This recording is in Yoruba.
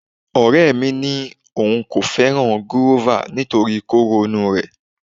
Ọ̀rẹ́ mi ni òun ò fẹ́ràn gúrófà nítorí kóró inú rẹ̀